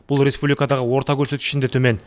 бұл республикадағы орта көрсеткіштен де төмен